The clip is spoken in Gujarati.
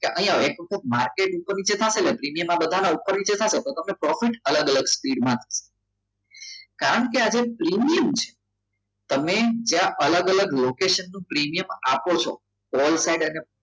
કે અહીંયા માર્કેટ ઉપર પ્રીમિયમ બધાના ઉપર નીચે થશે પરંતુ તમને profit અલગ અલગ સ્પીડમાં કારણ કે આજે પ્રીમિયમ છે તમે જ્યાં અલગ અલગ લોકેશન નો પ્રીમિયમ આપો છો all side અને